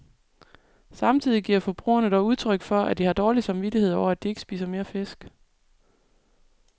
Samtidig giver forbrugerne dog udtryk for, at de har dårlig samvittighed over, at de ikke spiser mere fisk.